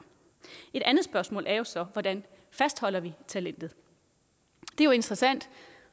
et andet spørgsmål er så hvordan vi fastholder talentet det er jo interessant